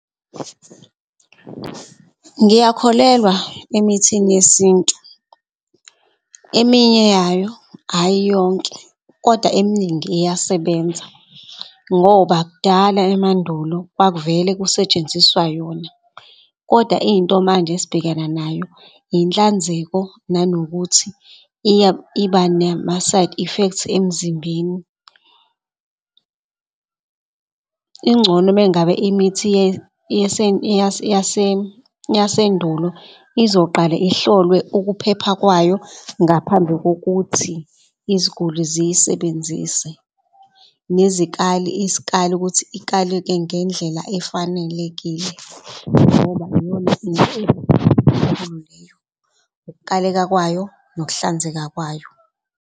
Ngiyakholelwa emithini yesintu, eminye yayo ayi yonke, kodwa eminingi iyasebenza ngoba kudala emandulo kwakuvele kusetshenziswa yona. Kodwa into manje esbhekana nayo inhlanzeko nanokuthi iba nama-side effect emzimbeni . Ingcono uma ngabe imithi yasendulo izoqale ihlolwe ukuphepha kwayo ngaphambi kokuthi iziguli ziyisebenzise. Nezikali iskali sokuthi ikaleke ngendlela efanelekile ngoba iyona into enkulu leyo. Ukukaleka kwayo nokuhlanzeka kwayo.